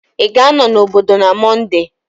Ị ga-anọ n'obodo na Mọnde?